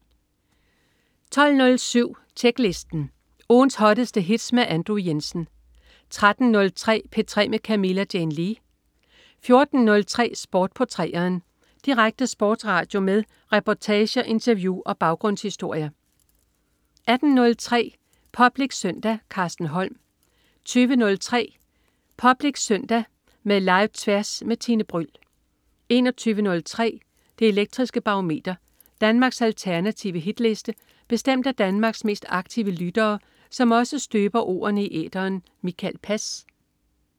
12.07 Tjeklisten. Ugens hotteste hits med Andrew Jensen 13.03 P3 med Camilla Jane Lea 14.03 Sport på 3'eren. Direkte sportsradio med reportager, interview og baggrundshistorier 18.03 Public Søndag. Carsten Holm 20.03 Public Søndag med Tværs. Med Live-Tværs med Tine Bryld 21.03 Det Elektriske Barometer. Danmarks alternative hitliste bestemt af Danmarks mest aktive lyttere, som også støber ordene i æteren. Mikael Pass